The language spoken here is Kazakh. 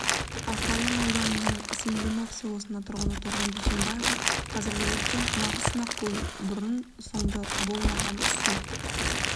аққайын ауданының смирнов селосының тұрғыны торғын дүйсенбаева қазіргі көктем нағыз сынақ болды бұрын сонды болмаған су